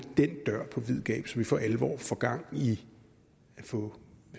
den dør på vid gab så vi for alvor får gang i at få